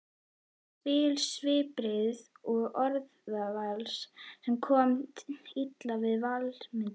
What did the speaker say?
spil svipbrigða og orðavals, sem kom illa við Valdimar.